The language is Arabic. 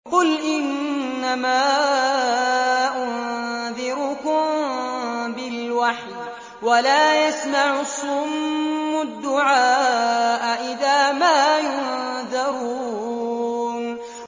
قُلْ إِنَّمَا أُنذِرُكُم بِالْوَحْيِ ۚ وَلَا يَسْمَعُ الصُّمُّ الدُّعَاءَ إِذَا مَا يُنذَرُونَ